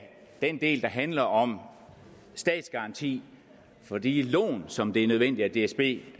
den del der handler om statsgaranti for de lån som det er nødvendigt at dsb